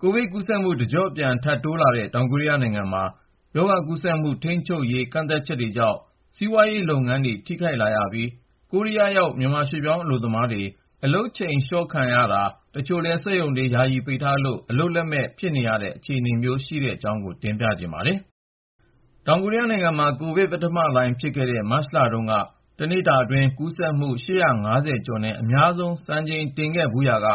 ကိုဗစ်ကူးစက်မှု တကြော့ပြန် ထပ်တိုးလာတဲ့ တောင်ကိုရီးယားနိုင်ငံမှာ ရောဂါကူးစက်မှု ထိန်းချုပ်ရေး ကန့်သတ်ချက်တွေကြောင့် စီးပွားရေးလုပ်ငန်းတွေ ထိခိုက်လာပြီး ၊ ကိုရီးယားရောက် မြန်မာရွှေ့ပြောင်းအလုပ်သမားတွေ အလုပ်ချိန် လျှော့ချခံရတာ ၊ တချို့လည်း စက်ရုံတွေ ယာယီပိတ်ထားလို့ အလုပ်လုပ်မဲ့ဖြစ်နေတဲ့ အခြေအနေမျိုးနဲ့ ရင်ဆိုင်လာရတဲ့အကြောင်း ကိုဉာဏ်ဝင်းအောင်က တင်ပြထားပါတယ်။ တောင်ကိုရီးယားနိုင်ငံမှာ ကိုဗစ် ပထမလှိုင်းဖြစ်ခဲ့တဲ့ မတ်လတုန်းက တနေ့တာအတွင်း ကူးစက်မှု ကျော်နဲ့ အများဆုံး စံချိန်တင်ခဲ့ဖူးရာက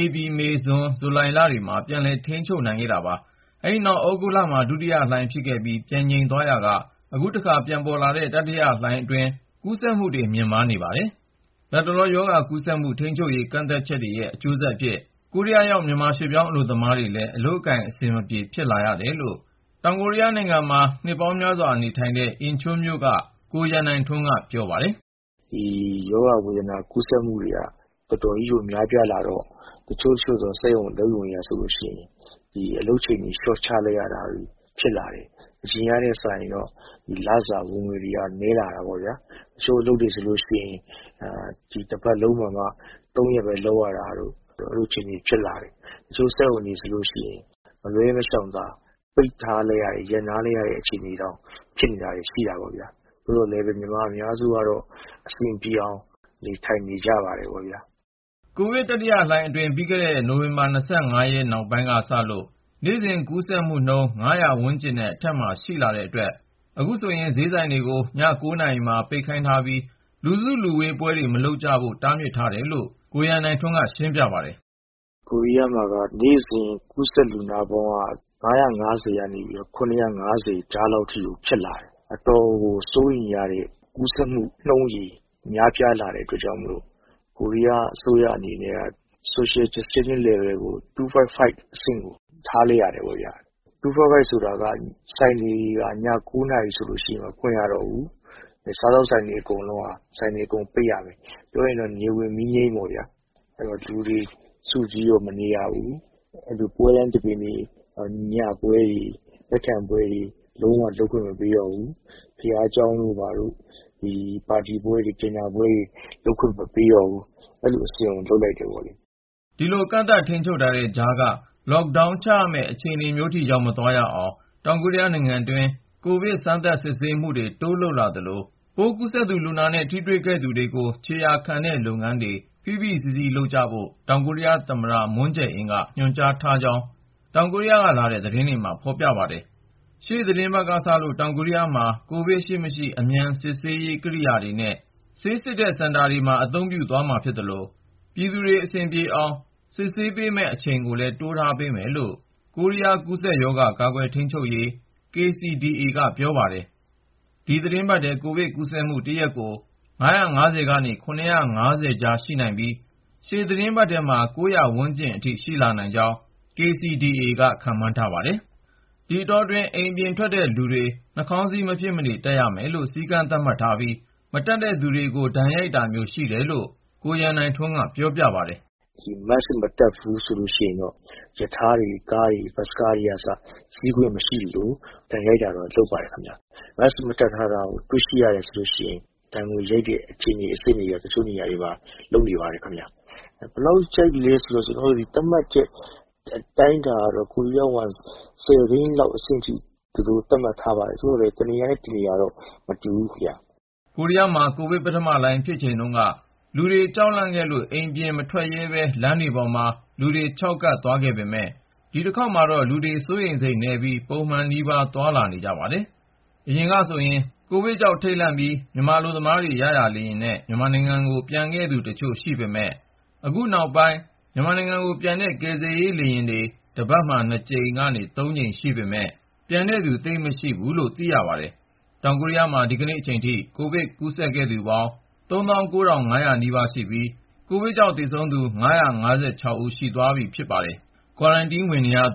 ဧပြီ၊ မေ၊ ဇွန်၊ ဇူလိုင်လ တွေမှာ ပြန်လည် ထိန်းချုပ်နိုင်ခဲ့တာပါ။ အဲဒီနောက် သြဂုတ်လထဲမှာ ဒုတိယလှိုင်း ဖြစ်ခဲ့ပြီး ပြန်ငြိမ်သ ွားရာက အခုတခါ ပြန်ပေါ်လာတဲ့ တတိလှိုင်းအတွင်း ကူးစက်မှုတွေ မြင့်မားနေပါတယ်။ လတ်တလော ရောဂါကူးစက်မှု ထိန်းချုပ်ရေး ကန့်သတ်ချက်တွေရဲ့အကျိုးဆက်အဖြစ် ကိုရီးယားရောက် မြန်မာရွှေ့ပြောင်းအလုပ်သမားတွေလည်း အလုပ်အကိုင် အဆင်မပြေ ဖြစ်လာရတယ်လို့ တောင်ကိုရီးယားမှာ နှစ်ပေါင်းများစွာ နေလာတဲ့ အင်ချွန်းမြို့က ကိုရန်နိုင်ထွန်း ပြောတာက “ဒီ ရောဂါ ကူးစက်မှုတွေက တော်တော်ကြီး များလာတော့ တချို့သော စက်ရုံတွေက အလုပ်ချိန် လျှော့ချလာတာမျိုး ဖြစ်လာတယ်။ အရင်ထက်စာရင် လစာ ဝင်ငွေ နည်းလာတာပေါ့။ တချို့အလုပ်တွေဆိုရင် တပတ်လုံးမှာမှ ၃ ရက်ပဲ လုပ်ရတာတို့အထိ ဖြစ်လာတယ်။ တချို့စက်ရုံတွေဆိုရင် မလွှဲမရှောင်သာ ပိတ်ထား- ရပ်နားထားရတဲ့ အခြေအနေတွေ ရှိနေတာပေါ့။ သို့သော်လည်း မြန်မာအများစုက အဆင်ပြေအောင် နေနေကြပါတယ်။” ကိုရီးယားကိုဗစ် တတိယလှိုင်းအတွင်း ပြီးခဲ့တဲ့ နိုဝင်ဘာ နောက်ပိုင်းကစလို့ နေ့စဉ်ကူးစက်မှုနှုန်း ဝန်းကျင်နဲ့ အထက်မှာ ရှိလာတဲ့အတွက် အခုဆိုရင်ဈေးဆိုင်တွေကို ည နာရီမှာ ပိတ်ခိုင်းပြီး လူစုလူဝေးပွဲတွေကို မလုပ်ဖို့ တားမြစ်ထားတယ်လို့ ကိုရန်နိုင်ထွန်းက ရှင်းပြပါတယ်။ “ကိုရီးယားမှာ နေ့စဉ် ကူးစက်လူနာပေါင်းက ၅၅၀ ကနေ ၇၅၀ ကြားလောက်ထိ ဖြစ်လာတော့ အတော်ကို စိုးရိမ်ရတဲ့ ကူးစက်မှုနှုန်း ဖြစ်လာတဲ့အတွက် ကိုရီးယားအစိုးရကလည်း Social Distancing Level ကို 2.5 အဆင့်ကို ထားလိုက်ရတယ်ပေါ့ ။ 2.5 ဆိုတာက ဆိုင်တွေဆို ည ၉ နာရီကျရင် ဆက်မဖွင့်ရ တော့ဘူး၊ အဲဒီအချိန်မှာ စားသောက်ဆိုင်တွေလည်း အကုန်လုံးပိတ်ရမယ် ။ ပြောရရင်တော့ နေဝင်မီးငြိမ်းပေါ့။ လူတွေ စုဝေး မနေရဘူး ပွဲလမ်းသဘင်တွေ၊ ညပွဲတွေ ဧည့်ခံပွဲတွေ လုံးဝ လုပ်ခွင့်မပေးတော့ဘူး။ ဘုရားကျောင်းတို့ ဘာတို့ ပါတီပွဲတွေ ညစာစားပွဲတွေလည်း လုပ်ခွင့် မပေးတော့ဘူး အဲလိုအဆင့်ကို လုပ်လိုက်တာပါ။” ဒီလို ကန့်သတ်ထိန်းချုပ်တဲ့ကြားက Lockdown ချရမယ့် အခြေအနေမျိုးထိ ရောက်မသွားရအောင် တောင်ကိုရီးယားနိုင်ငံတွင်း ကိုဗစ် စမ်းသပ် စစ်ဆေးမှုတွေ တိုးလုပ်လာသလို၊ ပိုးကူးစက် လူနာနဲ့ ထိတွေ့ခဲ့သူတွေကို ခြေရာခံတဲ့လုပ်ငန်းကို ဖိဖိစီးစီးလုပ်ဖို့ တောင်ကိုရီးယားသမ္မတ မွန်းဂျယ်အင်းက ညွှန်ကြားထားကြောင်း တောင်ကိုရီးယားကလာတဲ့ သတင်းတွေမှာ ဖေါ်ပြပါတယ်။ ရှေ့သီတင်းပတ်ကစလို့ တောင်ကိုရီးယားမှာ ကိုဗစ်ရှိမရှိ အမြန်စစ်ဆေးနိုင်မယ့် ကိရိယာနဲ့ ဆေးစစ်ပေးတဲ့ စင်တာတွေမှာ အသုံးပြုသွားမှာ ဖြစ်သလို၊ ပြည်သူတွေ အဆင်ပြေအောင် စစ်ဆေးမယ့် အချိန်ကိုလည်း တိုးထားပေးမယ်လို့ ကိုရီးယား ကူးစက်ရောဂါ ကာကွယ်ထိန်းချုပ်ရေးဌာန KCDA က ပြောပါတယ်။ ဒီသီတင်းပတ်ထဲ ကိုဗစ်ကူးစက်မှု တရက်ကို ၅၅၀ ကနေ ၇၅၀ ကြားရှိနိုင်ပြီး ရှေ့သီတင်းပတ်ထဲမှာ ၉၀၀ ဝန်းကျင်အထိ ရှိလာနိုင်ကြောင်း KCDA က ခန့်မှန်းထားပါတယ်။ ဒီအတောအတွင်း အိမ်အပြင်ထွက်တဲ့လူတွေ နှာခေါင်းစည်း မဖြစ်မနေ တပ်ရမယ်လို့ စည်းကမ်းသတ်မှတ်ထားပြီး မတပ်သူတွေကို ဒဏ်ရိုက်တာမျိုး ရှိတယ်လို့ ကိုရန်နိုင်ထွန်းက ပြောပါတယ်။ “ နှာခေါင်းစည်း မတပ်ဘူးဆိုရင်တော့ ရထားတွေ ၊ ကားတွေ၊ ဘတ်စ်ကားတွေကအစ စီးခွင့် မပေးဘူး။ ဒဏ်ရိုက်တာလည်း လုပ်ပါတယ်။ mask တပ်ထားတာ မတွေ့ရရင် ဒဏ်ငွေရိုက်တာမျိုး တချို့နေရာတွေမှာ လုပ်နေတာ တွေ့ရပါတယ်။ ဘယ်လောက် ရိုက်သလဲဆိုရင် ကိုရီးယားဝမ်ငွေ သိန်းလောက် အဆင့်ထိ သူတို့ သတ်မှတ်ထားပါတယ်။ သို့သော်လည်း တနေရာနဲ့ တနေရာတော့ မတူဘူးခင်ဗျ။” ကိုရီယားမှာ ကိုဗစ်ပထမလှိုင်း ဖြစ်ချိန်တုန်းက လူတွေ ကြောက်လန့်ခဲ့လို့ အပြင်မထွက်ရဲပဲ လမ်းတွေပေါ်မှာ လူခြောက်ကပ် သွားခဲ့ပေမယ့် ၊ ဒီတခေါက်မှာတော့ လူတွေ စိုးရိမ်စိတ်နည်းပြီး ပုံမှန်နီးပါး သွားလာနေကြပါတယ်။ အရင်ကဆိုရင် ကိုဗစ်ကြောင့် ထိန့်လန့်ပြီး မြန်မာအလုပ်သမားတွေ ရရာလေယာဉ်နဲ့ မြန်မာနိုင်ငံကို ပြန်သူတချို့ ရှိခဲ့ပေမယ့် အခုနောက်ပိုင်း မြန်မာနိုင်ငံကိုပြန်တဲ့ ကယ်ဆယ်ရေး လေယာဉ် တပတ်မှာ ၂ ကြိမ်ကနေ ၃ ကြိမ် ရှိပေမယ့်လည်း ပြန်သူ သိပ်မရှိဘူးလို့ သိရပါတယ်။ တောင်ကိုရီးယားမှာ ဒီကနေ့အချိန်ထိ ကိုဗစ်ကူးစက်ခဲ့သူ စုစုပေါင်း ဦး ၊ ကိုဗစ်ကြောင့်သေဆုံးသူ ဦး ရှိသွားပြီဖြစ်ပြီး ကွာရမ်တင်း ဝင်နေရသူ